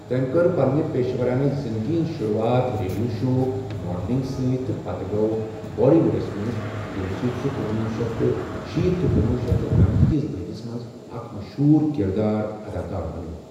تٔمۍ كٔر پنٛنہِ پیشورانہٕ زِندگی ہنز شروٗعات ریڈیو شو، ماڈلنگ سۭتۍ تہٕ پتہٕ گوٚو بالی ووڈَس منٛز، ییٚمہِ سۭتۍ سُہ کُنوُہ شیٚتھ تہٕ شیٖتھ تہٕ کُنوُہ شیٚتھ تہٕ نمتھ کِس دٔہلِس منٛز اکھ مشہوٗر کِردار اداکار بنیٛوو۔